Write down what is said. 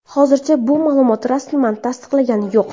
Hozircha bu ma’lumot rasman tasdiqlangani yo‘q.